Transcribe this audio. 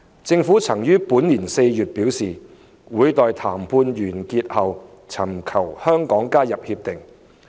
政府曾於本年4月表示，會待談判完成後尋求香港加入《協定》。